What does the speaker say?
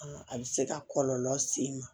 A bɛ se ka kɔlɔlɔ se i ma